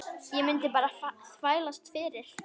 Ég mundi bara þvælast fyrir.